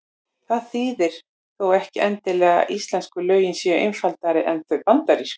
Það þýðir þó ekki endilega að íslensku lögin séu einfaldari en þau bandarísku.